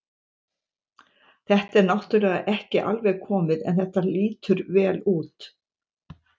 Þetta er náttúrulega ekki alveg komið en þetta lýtur vel út.